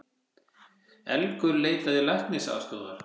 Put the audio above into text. Elgur leitaði læknisaðstoðar